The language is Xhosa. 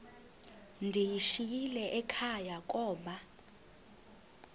ndiyishiyile ekhaya koba